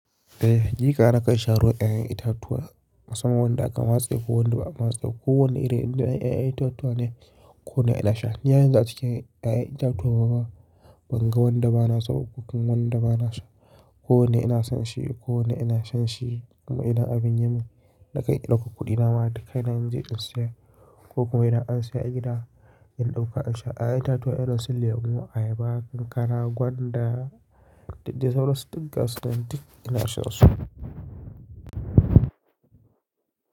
Eh, ni kam sha ruwan ƴaƴan itatuwa. Kasan wanda aka matse ko wanda ba a matse. Ko wane irin ƴaƴan itatuwa ne ko na ina sha. Ni har yanzu a cikin ƴaƴan itatuwa ba, ban ga wanda ba na so ko kuma wanda ba na sha. Ko wanda ina son shi ko wanda ina shan shi. Kuma idan abin ya mun, na kai ɗauka kuɗi na mata kai na je in saya ko kuma idan an saya a gida, in ɗauka in sha. A ƴaƴan itatuwa ina son lemu, ayaba, kankara, gwanda, da sauransu duka suna cikin ina shansa su.